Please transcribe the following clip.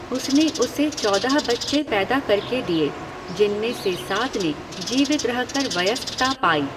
उसने उसे चौदह बच्चे पैदा करके दिए, जिनमें से सात ने जीवित रह कर वयस्कता पाई।